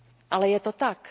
Ale je to tak!